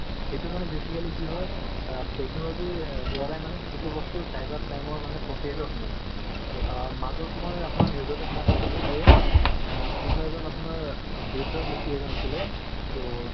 সেইটো মানে basically কি হয় আ technology বৰাই মানে সেইটো বস্তু cyber crime ৰ proprietor হয় মানে মাজত মই আ আপোনাৰ news তো শুনা পাইছিলো যে কনোবা এজন আপোনাৰ বৃদ্ধ ব্যক্তি এজন আছিলে so